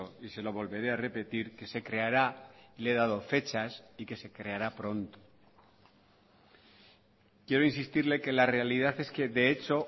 y se lo volveré a repetir que se creará le he dado fechas y que se creará pronto quiero insistirle que la realidad es que de hecho